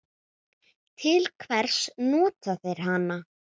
Til hvers nota þeir hana?